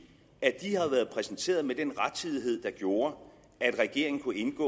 at de har været præsenteret med den rettidighed der gjorde at regeringen kunne indgå